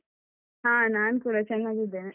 ಹ ನಾನ್ ಕೂಡ ಚನ್ನಾಗಿದ್ದೇನೆ.